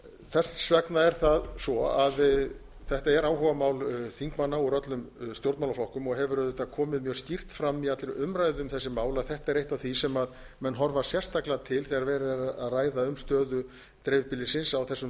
þess vegna er það svo að þetta er áhugamál þingmanna úr öllum stjórnmálaflokkum og hefur auðvitað komið mjög skýrt fram í allri umræðu um þessi mál að þetta er eitt af því sem menn horfa sérstaklega til þegar verið er að ræða um stöðu dreifbýlisins á þessum